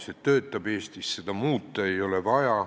See Eestis töötab, seda muuta ei ole vaja.